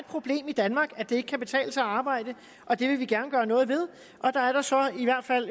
problem i danmark at det ikke kan betale sig at arbejde og det vil vi gerne gøre noget ved der er der så i hvert fald